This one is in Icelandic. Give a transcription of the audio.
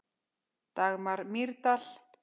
Dagmar Mýrdal.